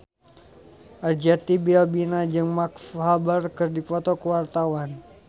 Arzetti Bilbina jeung Mark Walberg keur dipoto ku wartawan